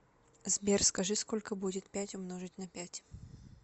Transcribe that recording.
сбер скажи сколько будет пять умножить на пять